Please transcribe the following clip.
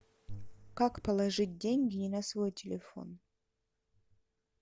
как положить деньги не на свой телефон